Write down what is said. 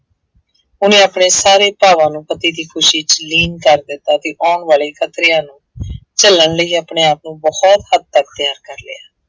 ਉਹਨੇ ਆਪਣੇ ਸਾਰੇ ਭਾਵਾਂ ਨੂੰ ਪਤੀ ਦੀ ਖੁਸ਼ੀ ਚ ਲੀਨ ਕਰ ਦਿੱਤਾ ਸੀ, ਆਉਣ ਵਾਲੇ ਖਤਰਿਆਂ ਨੂੰ ਝੱਲਣ ਲਈ ਆਪਣੇ ਆਪ ਨੂੰ ਬਹੁਤ ਹੱਦ ਤੱਕ ਤਿਆਰ ਕਰ ਲਿਆ।